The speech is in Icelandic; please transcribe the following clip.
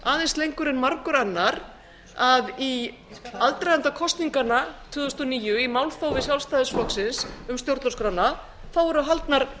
aðeins lengur en margur annar að í aðdraganda kosninganna tvö þúsund og níu í málþófi sjálfstæðisflokksins um stjórnarskrána voru haldnar